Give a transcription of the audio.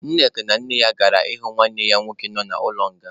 Nneka na nne ya gara ịhụ nwanne ya nwoke nọ n'ụlọ nga.